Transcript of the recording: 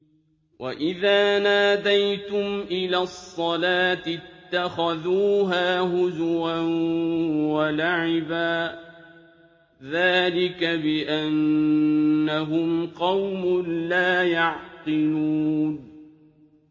وَإِذَا نَادَيْتُمْ إِلَى الصَّلَاةِ اتَّخَذُوهَا هُزُوًا وَلَعِبًا ۚ ذَٰلِكَ بِأَنَّهُمْ قَوْمٌ لَّا يَعْقِلُونَ